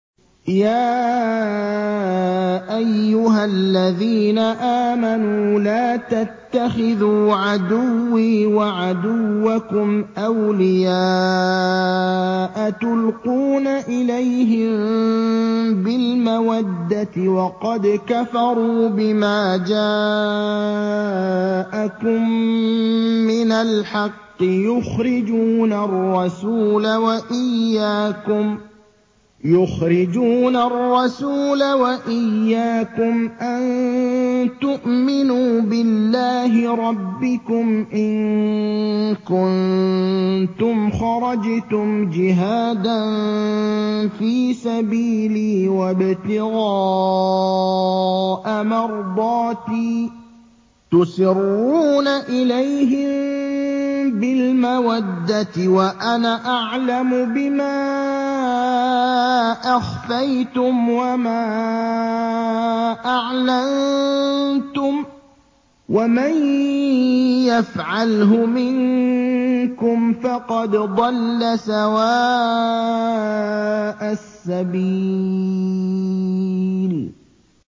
يَا أَيُّهَا الَّذِينَ آمَنُوا لَا تَتَّخِذُوا عَدُوِّي وَعَدُوَّكُمْ أَوْلِيَاءَ تُلْقُونَ إِلَيْهِم بِالْمَوَدَّةِ وَقَدْ كَفَرُوا بِمَا جَاءَكُم مِّنَ الْحَقِّ يُخْرِجُونَ الرَّسُولَ وَإِيَّاكُمْ ۙ أَن تُؤْمِنُوا بِاللَّهِ رَبِّكُمْ إِن كُنتُمْ خَرَجْتُمْ جِهَادًا فِي سَبِيلِي وَابْتِغَاءَ مَرْضَاتِي ۚ تُسِرُّونَ إِلَيْهِم بِالْمَوَدَّةِ وَأَنَا أَعْلَمُ بِمَا أَخْفَيْتُمْ وَمَا أَعْلَنتُمْ ۚ وَمَن يَفْعَلْهُ مِنكُمْ فَقَدْ ضَلَّ سَوَاءَ السَّبِيلِ